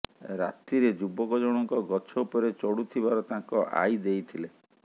ରାତିରେ ଯୁବକ ଜଣଙ୍କ ଗଛ ଉପରେ ଚଢ଼ୁଥିବାର ତାଙ୍କ ଆଇ ଦେଇଥିଲେ